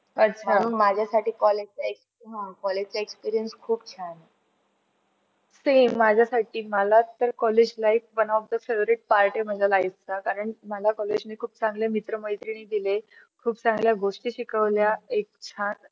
same माझ्यासाठी मला तर college life one of the favourite part आहे माझ्या life चा कारण मला college ने खूप चांगले मित्र मैत्रिणी दिले, खूप चांगल्या गोष्टी शिकवल्या. एक छान